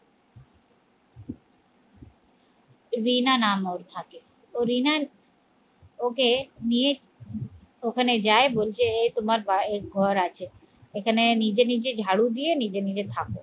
রিনা নাম ওর থাকে ও রিনার ওকে নিয়ে ওখানে যায় বলছে এ তোমার ঘর আছে এখানে নিজে নিজে ঝাড়ু দিয়ে নিজে নিজে থাকো